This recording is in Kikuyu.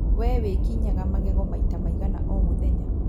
Wee wĩkinyaga magego maita maigana o mũthenya